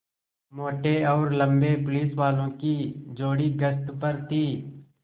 मोटे और लम्बे पुलिसवालों की जोड़ी गश्त पर थी